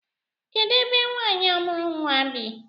Kedụ ebe nwaanyị a mụrụ nnwa bi?